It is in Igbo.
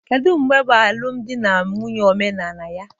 Kedu mgbe bụ alụmdi na nwunye omenala ya?